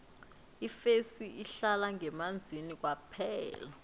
ifesi ihlala ngemanzini kwaphela